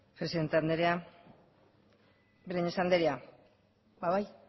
presidente anderea breñas anderea ba bai